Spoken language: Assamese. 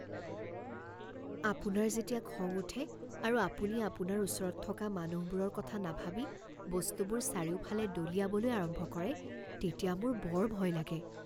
আপোনাৰ যেতিয়া খং উঠে আৰু আপুনি আপোনাৰ ওচৰত থকা মানুহৰবোৰৰ কথা নাভাবি বস্তুবোৰ চাৰিওফালে দলিয়াবলৈ আৰম্ভ কৰে তেতিয়া মোৰ বৰ ভয় লাগে।